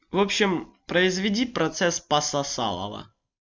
в общем произведи процесс пососалова